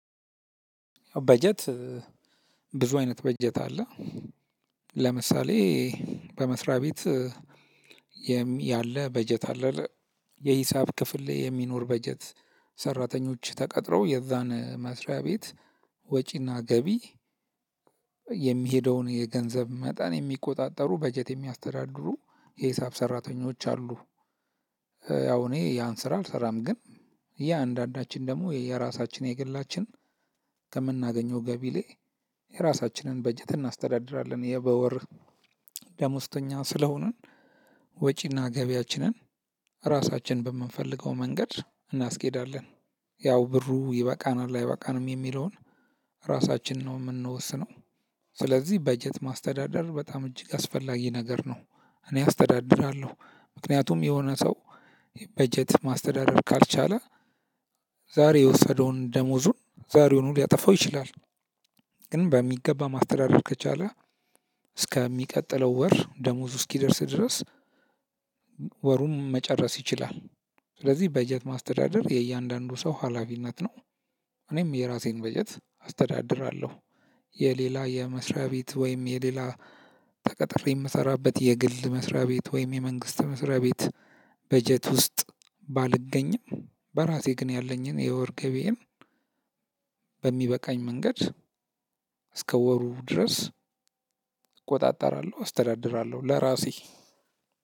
በጀት ብዙ አይነት በጀት አለ። ለምሳሌ በመስሪያ ቤት። ያለ በጀት አለ። የሂሳብ ክፍል የሚኖር በጀት ሰራተኞች ተቀጥረው የዛን መስሪያ ቤት ወጪና ገቢ የሚሄደውን የገንዘብ መጠን የሚቆጣጠሩ በጀት የሚያስተዳድሩ የሂሳብ ሰራተኞች አሉ። ያው እኔ ያን ስራ አልሰራም ግን ያ አንዳንዳችን ደግሞ የየራሳችን የግላችን ከምናገኘው ገቢ ላይ የራሳችንን በጀት እናስተዳድራለን። የበወር ዳሞስተኛ ስለሆንን ወጪና ገቢያችንን ራሳችን በምንፈልገው መንገድ እናስኬዳለን። ያው ብሩ ይበቃናል አይበቃንም የሚለውን ራሳችን ነው የምንወስነው። ስለዚህ በጀት ማስተዳደር በጣም እጅግ አስፈላጊ ነገር ነው። እኔ አስተዳድራለሁ። ምክንያቱም የሆነ ሰው በጀት ማስተዳደር ካልቻለ ዛሬ የወሰደውን ደሞዙን ዛሬውኑ ሊያጠፋው ይችላል። ግን በሚገባ ማስተዳደር ከቻለ እስከሚቀጥለው ወር ደሞዙ እስኪደርስ ድረስ። ወሩን መጨረስ ይችላል። ስለዚህ በጀት ማስተዳደር የእያንዳንዱ ሰው ሀላፊነት ነው። እኔም የራሴን በጀት አስተዳድራለሁ። የሌላ የመስሪያ ቤት ወይም የሌላ ተቀጥሬ የምሰራበት የግል መስሪያ ቤት ወይም የመንግስት መስሪያ ቤት በጀት ውስጥ ባልገኝም በራሴ ግን ያለኝን የወር ገቢዬን በሚበቃኝ መንገድ እስከ ወሩ ድረስ እቆጣጠራለሁ አስተዳድራለሁ ለራሴ።